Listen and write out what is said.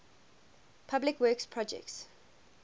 public works projects